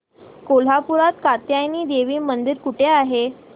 कोल्हापूरात कात्यायनी देवी मंदिर कुठे आहे